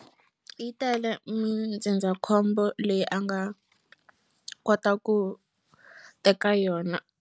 Yi tele mindzindzakhombo leyi a nga kota ku teka yona.